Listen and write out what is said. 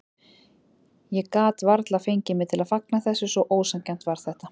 Ég gat varla fengið mig til að fagna þessu, svo ósanngjarnt var þetta.